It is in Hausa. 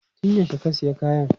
Tun yaushe ka sayi kayan?